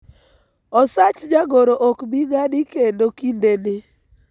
osach jagoro ok bii ng'adi kendo kinde ni